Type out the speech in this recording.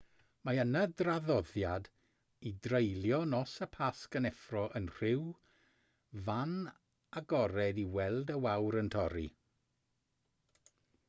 mae yna draddoddiad i dreulio nos y pasg yn effro yn rhyw fan agored i weld y wawr yn torri